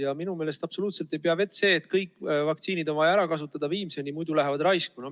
Ja minu meelest ei pea absoluutselt vett see, et kõik vaktsiinid on vaja viimseni ära kasutada, sest muidu lähevad need raisku.